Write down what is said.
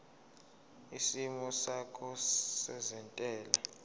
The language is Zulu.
isimo sakho sezentela